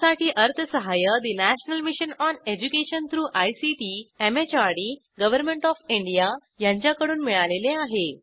यासाठी अर्थसहाय्य national mission on education through ICT MHRD government of India यांच्याकडून मिळालेले आहे